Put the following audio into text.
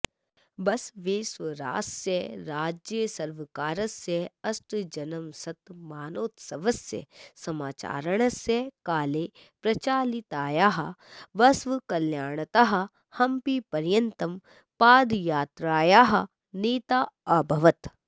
बसवेश्वरास्य राज्यसर्वकारस्य अष्टमजन्मशतमानोत्सवस्य समाचरणस्य काले प्रचालितायाः बसवकल्याणतः हम्पीपर्यन्तं पादयात्रायाः नेता अभवत्